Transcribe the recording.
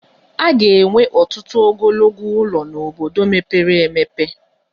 A ga-enwe ọtụtụ ogologo ụlọ n'obodo mepere emepe.